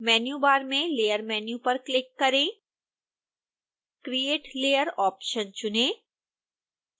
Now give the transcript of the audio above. menu bar में layer menu पर click करें create layer ऑप्शन चुनें